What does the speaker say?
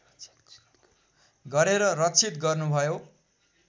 गरेर रक्षित गर्नुभयो